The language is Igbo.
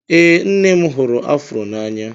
Ee, nne m hụrụ afro n'anya